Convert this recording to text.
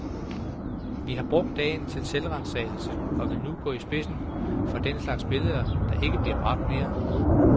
Vi har brugt dagen til selvransagelse, og vil nu gå i spidsen for at den slags billeder ikke bliver bragt mere.